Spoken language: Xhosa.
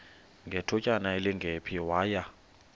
ngethutyana elingephi waya